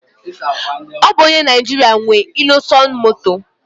Ọ bụ onye Naijiria nwe Innoson Moto